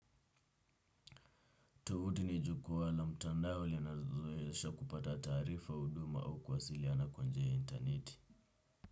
Tuvuti ni jukwaa la mtandao linazoesha kupata taarifa huduma au kuwasiliana kwa njia ya interneti.